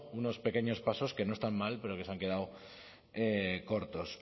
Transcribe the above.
unos pequeños pasos que no están mal pero que se han quedado cortos